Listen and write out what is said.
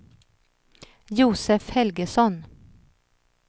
Josef Helgesson